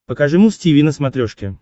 покажи муз тиви на смотрешке